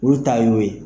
Olu ta y'o ye